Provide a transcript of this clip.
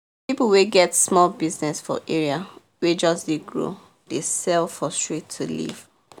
people wey get small business for area wey just dey grow dey sell for street to live